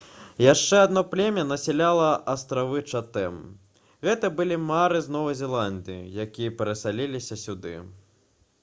яшчэ адно племя насяляла астравы чатэм гэта былі маары з новай зеландыі якія перасяліліся сюды